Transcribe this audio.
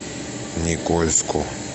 никольску